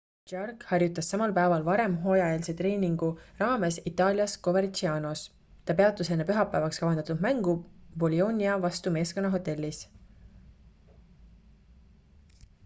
jarque harjutas samal päeval varem hooajaeelse treeningu raames itaalias covercianos ta peatus enne pühapäevaks kavandatud mängu bolionia vastu meeskonna hotellis